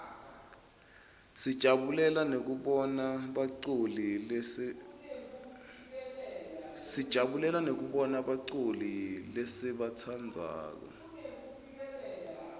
sijabulela nekubona baculi lesibatsandzako